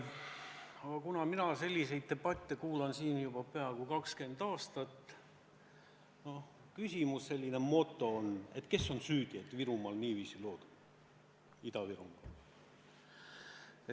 Aga kuna mina olen selliseid debatte siin kuulnud juba peaaegu 20 aastat, siis tekib küsimus, kes on süüdi, et Ida-Virumaal lood niiviisi on.